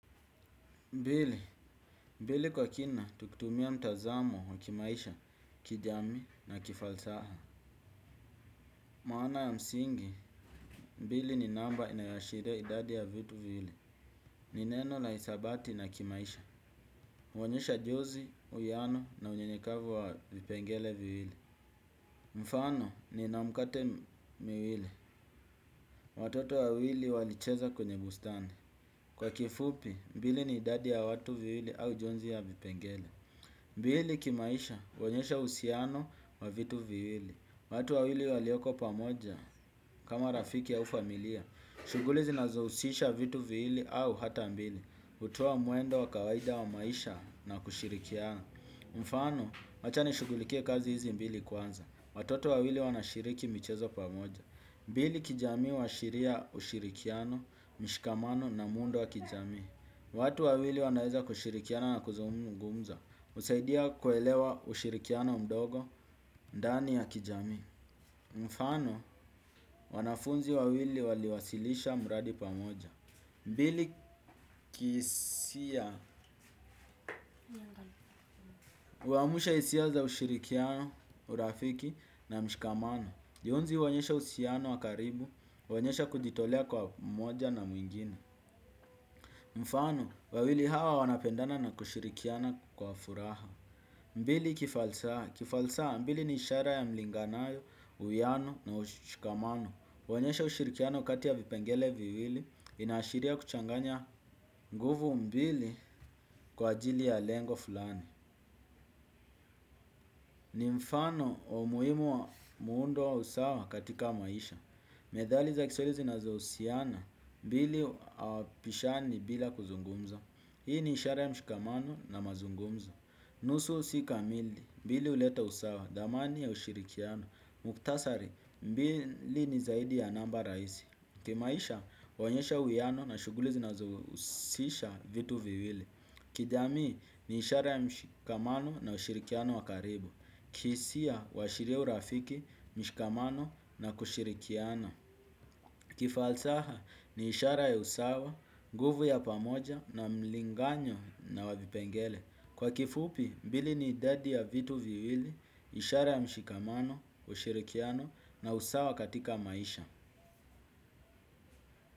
Bili, bili kwa kina, tukitumia mtazamo wa kimaisha, kijamii na kifalsaha. Maana ya msingi, mbili ni namba inayoashiria idadi ya vitu viwili. Ni neno la isabati na kimaisha. Huonyesha jozi, uwiano na unyenyekavu wa vipengele viwili. Mfano, nina mukate miwili. Watoto wawili walicheza kwenye bustani. Kwa kifupi, mbili ni idadi ya watu viwili au jonzi ya vipengele. Mbili kimaisha huonyesha uhusiano wa vitu viwili. Watu wawili walioko pamoja kama rafiki au familia. Shughuli zinazohusisha vitu viwili au hata mbili. Hutoa mwendo wa kawaida wa maisha na kushirikiana. Mfano, wacha nishughulikie kazi hizi mbili kwanza. Watoto wawili wanashiriki michezo pamoja. Mbili kijamii huashiria ushirikiano, mshikamano na muundo wa kijamii. Watu wawili wanaweza kushirikiana na kuzungumza. Husaidia kuelewa ushirikiano mdogo, ndani ya kijamii. Mfano, wanafunzi wawili waliwasilisha muradi pamoja. Mbili kihisia, huamusha hisia za ushirikiano, urafiki na mshikamano. Jonzi huonyesha uhusiano wa karibu, huonyesha kujitolea kwa mmoja na mwingine. Mfano, wawili hawa wanapendana na kushirikiana kwa furaha. Mbili kifalsaha, kifalsaa mbili ni ishara ya mlinganayo, uwiyano na ushikamano. Huonyesha ushirikiano kati ya vipengele viwili, inaashiria kuchanganya nguvu mbili kwa ajili ya lengo fulani. Ni mfano wa umuhimu wa muundo wa usawa katika maisha. Methali za kiswahili zinazohusiana, mbili hawapishani bila kuzungumza. Hii ni ishara ya mshikamano na mazungumza. Nusu si kamili, mbili huleta usawa, dhamani ya ushirikiano. Mukhtasari, mbili ni zaidi ya namba rahisi. Kimaisha, huonyesha uwiano na shughuli zinazohusisha vitu viwili. Kijamii, ni ishara ya mshikamano na ushirikiano wa karibu. Kihisia, huwashiria urafiki, mshikamano na kushirikiana. Kifalsaha, ni ishara ya usawa, nguvu ya pamoja na mlinganyo na wa vipengele. Kwa kifupi, mbili ni idadi ya vitu viwili, ishara ya mshikamano, ushirikiano na usawa katika maisha.